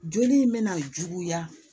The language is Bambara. Joli in bɛ na juguya